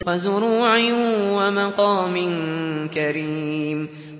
وَزُرُوعٍ وَمَقَامٍ كَرِيمٍ